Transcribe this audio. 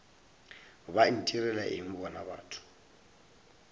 ba ntirela eng bona batho